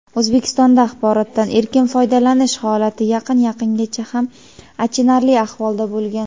O‘zbekistonda axborotdan erkin foydalanish xolati yaqin yaqingacha xam achinarli ahvolda bo‘lgan.